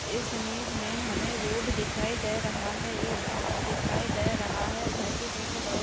इस इमेज हमें रोड दिखाई दे रहा है एक घर दिखाई दे रहा है और घर के पीछे बड़े--